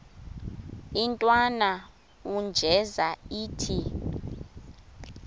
intwana unjeza ithi